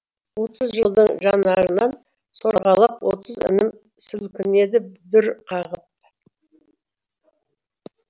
отыз жаздың жанарынан сорғалап отыз інім сілкінеді дүр қағып